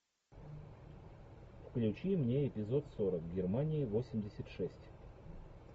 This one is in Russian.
включи мне эпизод сорок германии восемьдесят шесть